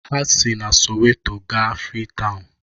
Ha si na Soweto gaa Freetown